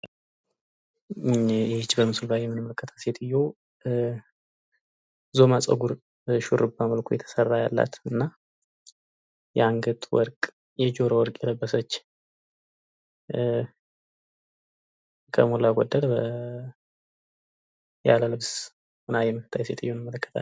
ይች በምስሉ ላይ የምንመለከታት ሴትዮ ዞማ ጸጉር በሹርባ መልኩ የተሰራ ያላት እና የአንገት ወርቅ የጆሮ ወርቅ የለበሰች ከሞላ ጎደል ያለ ልብስ የምትታይ ሴትዮ እንመለከታለን።